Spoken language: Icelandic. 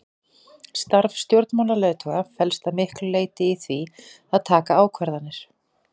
Starf stjórnmálaleiðtoga felst að miklu leyti í því að taka ákvarðanir.